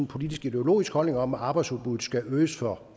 politiskideologisk holdning om at arbejdsudbuddet skal øges for